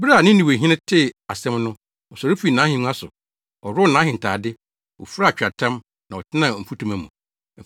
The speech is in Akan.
Bere a Ninewehene tee asɛm no, ɔsɔre fii nʼahengua so, ɔworɔw nʼahentade, ofuraa atweaatam, na ɔtenaa mfutuma mu.